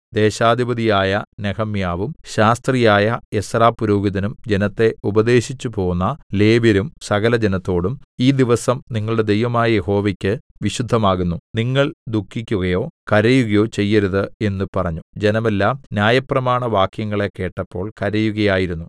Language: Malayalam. ദേശാധിപതിയായ നെഹെമ്യാവും ശാസ്ത്രിയായ എസ്രാപുരോഹിതനും ജനത്തെ ഉപദേശിച്ചുപോന്ന ലേവ്യരും സകലജനത്തോടും ഈ ദിവസം നിങ്ങളുടെ ദൈവമായ യഹോവയ്ക്ക് വിശുദ്ധമാകുന്നു നിങ്ങൾ ദുഃഖിക്കുകയോ കരയുകയോ ചെയ്യരുത് എന്ന് പറഞ്ഞു ജനമെല്ലാം ന്യായപ്രമാണവാക്യങ്ങളെ കേട്ടപ്പോൾ കരയുകയായിരുന്നു